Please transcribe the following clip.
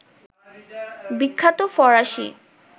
বিখ্যাত ফরাসি